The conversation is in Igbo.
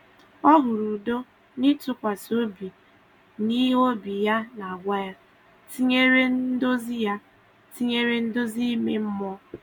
Ọ hụrụ udo n’ịtụkwasị obi n’ihe obi ya na-agwa ya, tinyere nduzi ya, tinyere nduzi ime mmụọ.